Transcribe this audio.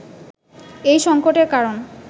এই সংকটের কারণ